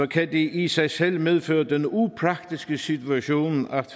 kan det i sig selv medføre den upraktiske situation at